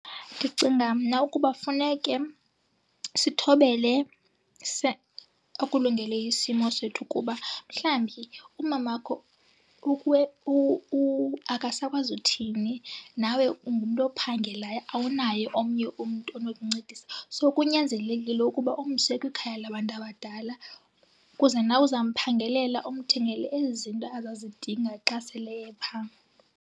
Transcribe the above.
Ndicinga mna ukuba funeke sithobele okulungele isimo sethu, kuba mhlawumbi umamakho akasakwazi uthini nawe ungumntu ophangelayo awunaye omnye umntu onokuncedisa. So kunyanzelekile ukuba umse kwikhaya labantu abadala, kuze nawe uzamphangelela umthengele ezi zinto azazidinga xa sele epha.